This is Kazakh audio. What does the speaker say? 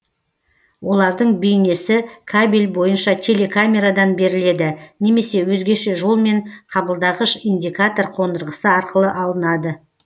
олардың бейнесі кабель бойынша телекамерадан беріледі немесе өзгеше жолмен қабылдағыш индикатор қондырғысы арқылы алынады